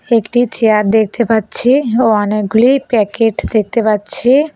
একটি চেয়ার দেখতে পাচ্ছি ও অনেকগুলি প্যাকেট দেখতে পাচ্ছি।